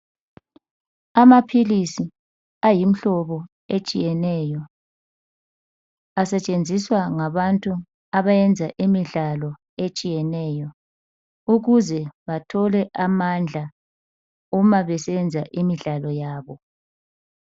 amaphilisi ayimhlobo etshiyeneyo asetshenziswa ngabantu abayenza imidlalo etshiyeneyo ukuze bathole amandla uma besenza imidlalo yabo